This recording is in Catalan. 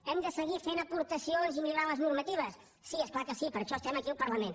hem de seguir fent aportacions i millorant les normatives sí és clar que sí per això estem aquí al parlament